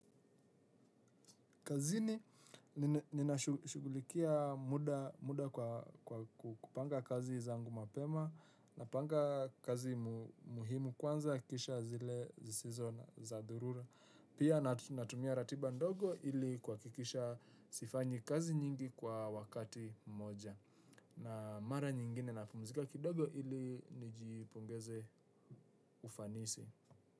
Kazini nina shugulikia muda kwa kupanga kazi zangu mapema napanga kazi muhimu kwanza kisha zile zisizo za dharura. Pia natumia ratiba ndogo ili kuhakikisha sifanyi kazi nyingi kwa wakati moja. Na mara nyingine napumzika kidogo ili nijipongeze ufanisi.